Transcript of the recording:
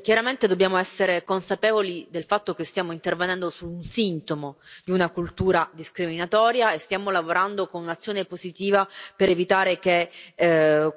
Chiaramente dobbiamo essere consapevoli del fatto che stiamo intervenendo su un sintomo di una cultura discriminatoria e stiamo lavorando con un'azione positiva per evitare che